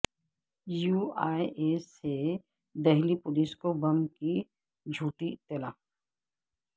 you A E سے Delhi police کو bomb کی جھوٹی اطلاع